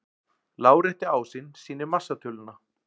Lárétti ásinn sýnir massatöluna.